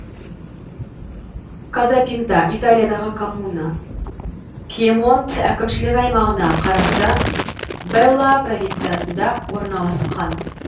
казапинта италиядағы коммуна пьемонт әкімшілік аймағына қарасты бэлла провинциясында орналасқан